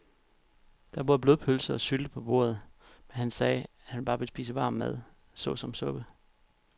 Der var både blodpølse og sylte på bordet, men han sagde, at han bare ville spise varm mad såsom suppe.